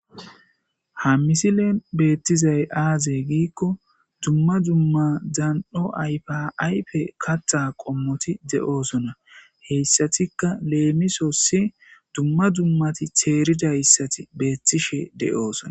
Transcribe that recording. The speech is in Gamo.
ha misilen beettizay aazey giikko dumma dumma dzan'o ayfa ayfe katha qommoti de'osona, heyssatikka leemisosi dumma dummati teeridayssati beettishe de'osona.